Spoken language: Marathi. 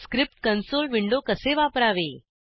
स्क्रिप्ट कन्सोल विंडो कसे वापरावे